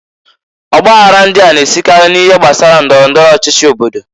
Ọ gbaghara ndịa na-esikary n'ihe gbasara ndọrọ ndọrọ ọchịchị obodo.